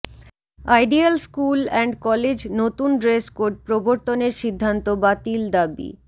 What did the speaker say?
ideal school and college নতুন dress code প্রবর্তনের সিদ্ধান্ত বাতিল দাবি